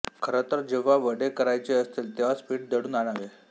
खरतरं जेंव्हा वडे करायचे असतील तेंव्हाच पीठ दळून आणावे